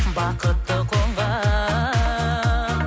бақытты қонған